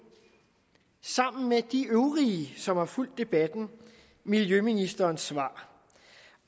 sammen med de øvrige som har fulgt debatten miljøministerens svar